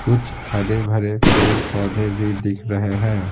कुछ हरे-भरे पेड़-पौधे भी दिख रहे हैं।